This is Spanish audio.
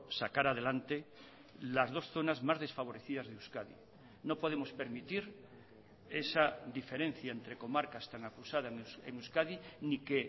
sacar adelante las dos zonas más desfavorecidas de euskadi no podemos permitir esa diferencia entre comarcas tan acusada en euskadi ni que